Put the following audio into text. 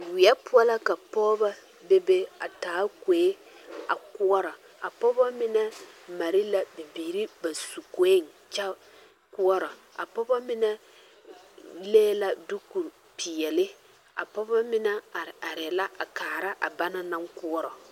Weɛ poɔ la ka pɔgeba be be a taa kue a koɔrɔ ka pɔgeba mine mare la bibiiri ba poeŋ kyɛ koɔrɔ a pɔgeba mine leŋ la dukupeɛle a pɔgeba mine are are la a kaara a ba naŋ koɔrɔ.